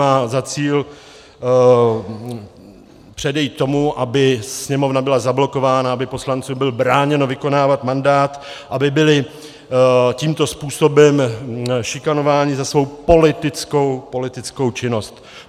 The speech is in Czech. Má za cíl předejít tomu, aby Sněmovna byla zablokována, aby poslancům bylo bráněno vykonávat mandát, aby byli tímto způsobem šikanováni za svou politickou činnost.